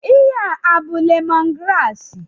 Ihe a abụ lemon graasị?